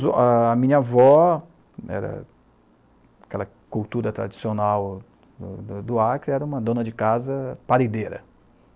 A minha avó, eh daquela cultura tradicional do do Acre, era uma dona de casa parideira.